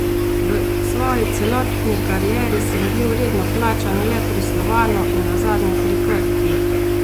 V svoji celotni karieri sem bil redno plačan le pri Slovanu in nazadnje pri Krki.